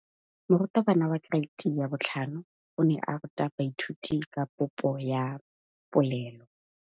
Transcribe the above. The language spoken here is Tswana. Moratabana wa kereiti ya 5 o ne a ruta baithuti ka popô ya polelô.